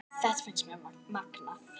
Þetta finnst mér magnað.